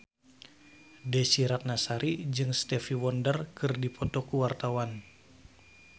Desy Ratnasari jeung Stevie Wonder keur dipoto ku wartawan